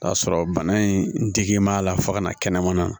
K'a sɔrɔ bana in digilen b'a la fo ka na kɛnɛmana